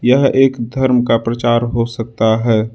यह एक धर्म का प्रचार हो सकता है।